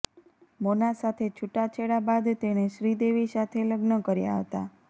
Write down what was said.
મોના સાથે છૂટાછેડા બાદ તેણે શ્રીદેવી સાથે લગ્ન કર્યાં હતાં